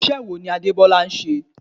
Iṣẹ́ wo ni Adebola ń ṣe?